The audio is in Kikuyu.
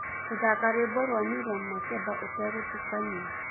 gũthaka rwĩmbo rwa miriam makeba utegutukania